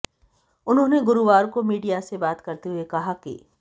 उन्होंने गुरुवार को मीडिया से बात करते हुए कहा कि